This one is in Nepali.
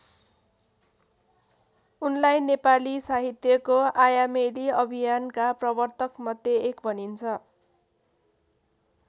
उनलाई नेपाली साहित्यको आयामेली अभियानका प्रवर्तकमध्ये एक भनिन्छ।